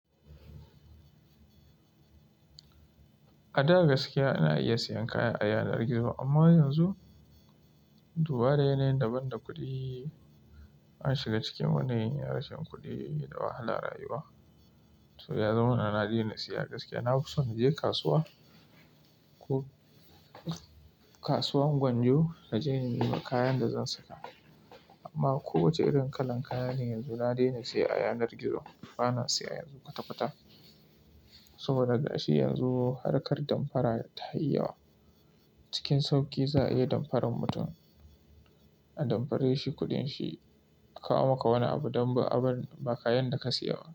A da gaskiya ina iya siyan kaya a yanar gizo amma yanzu, dubara yanayin daban da kuɗi na shiga cikin wani yanayin rashin kuɗi da wahalar rayuwa. So ya zamana na daina siya gaskiya. Na fi so na je kasuwa, ko kasuwan Gwanjo na je na nema kayan da zan saka. Amma kowace irin kalan kaya ne yanzu na daina siye a yanar gizo. Bana siya yanzu kwata-kwata. Saboda da shi yanzu harkar damfara ta yi yawa. Cikin sauƙi za a iya damfaran mutum, a damfare shi kuɗin shi. Kawo maka wani abu don ba abun, ba kayan da ka siya ba.